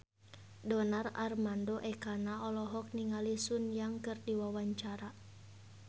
Donar Armando Ekana olohok ningali Sun Yang keur diwawancara